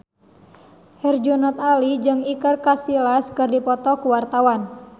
Herjunot Ali jeung Iker Casillas keur dipoto ku wartawan